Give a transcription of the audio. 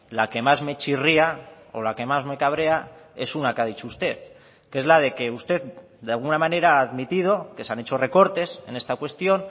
la que más me chirría o la que más me cabrea es una que ha dicho usted que es la de que usted de alguna manera ha admitido que se han hecho recortes en esta cuestión